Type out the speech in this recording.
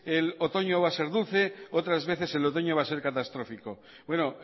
el otoño va a ser dulce otras veces el otoño va a ser catastrófico bueno